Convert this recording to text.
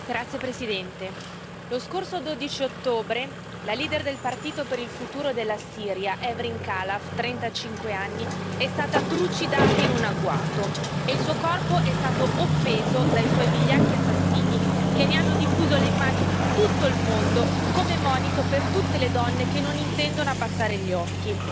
Signor Presidente, onorevoli colleghi, lo scorso 12 ottobre la leader del partito per il futuro della Siria Hevrin Kalaf, trentacinque anni, è stata trucidata in un agguato e il suo corpo è stato offeso dai suoi vigliacchi assassini, che ne hanno diffuso le immagini in tutto il mondo come monito per tutte le donne che non intendono abbassare gli occhi.